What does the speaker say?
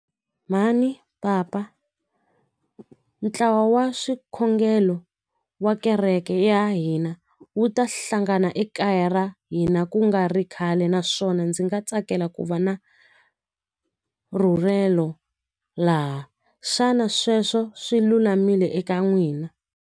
Mhani papa ntlawa wa swikhongelo wa kereke ya hina wu ta hlangana ekaya ra hina ku nga ri khale naswona ndzi nga tsakela ku va na rhulelo laha xana sweswo swi lulamile eka n'wina.